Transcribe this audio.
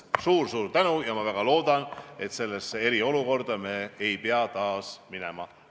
Suur-suur tänu ja ma väga loodan, et eriolukorda ei pea me taas minema.